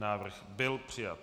Návrh byl přijat.